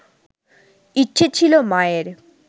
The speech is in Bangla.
ইচ্ছে ছিল মায়ের